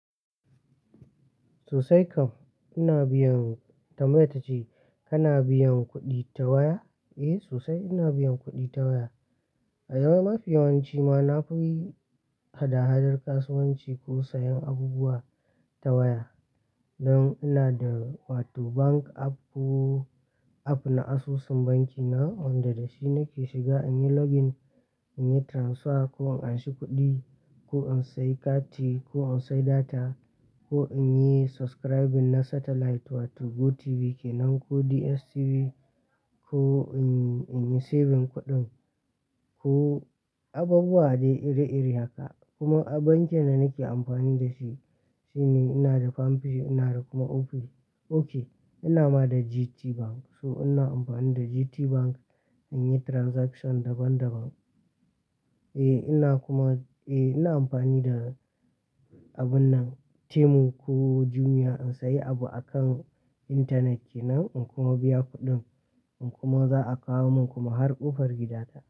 Sosai kam. Ina biyan, tambayar ta ce "kana biyan kuɗi ta waya?" Eh sosai ina biyan kuɗi ta waya. A yau mafi yawanci ma na fi yi hada-hadar kasuwanci ko sayan abubuwa ta waya. Don ina da wato bank app ko app na asusun banki na wanda da shi nake shiga in yi login, in yi transfer ko in anshi kuɗi ko in sayi kati ko in sayi data ko in yi subscribing na satellite wato GoTv kenan ko DSTV ko in yi, in yi saving kuɗin ko abubuwa dai iri-iri haka. Kuma bankin da nake amfani da shi, shi ne ina da Palmpay ina da kuma Opay. Ok ina ma da GTBank. So ina amfani da GTBank in yi transaction daban-daban. Eh ina kuma, eh ina amfani da abun nan Temu ko Jumia in sayi abu akan intanet kenan in kuma biya kuɗin in kuma za a kawo min kuma har ƙofar gida ta.